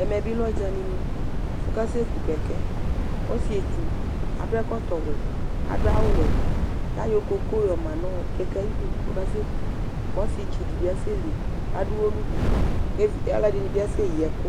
Ɛmɛ bi lɛ ɔdzani nu, ɔkasɛ ku kɛkɛ, ɔsietsu adu ɛkɔtɔ wɛ, adu awu wɛ, ayɔ koko yɔ ma nu kɛkɛ ayidu ku ɔkasɛku, ku ɔsietsu di bi asɛ li adu uwɔ nu du, ku ɔlɔdini bi asɛyi ɛku